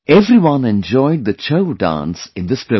Everyone enjoyed the 'Chhau' dance in this program